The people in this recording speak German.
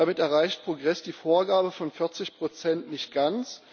Damit erreicht Progress die Vorgabe von 40 nicht ganz.